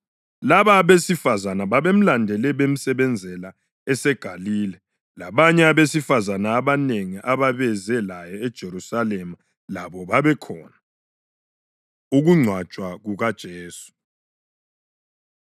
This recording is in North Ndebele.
Laba abesifazane babemlandele bemsebenzela eseGalile. Labanye abesifazane abanengi ababeze laye eJerusalema labo babekhona. Ukungcwatshwa KukaJesu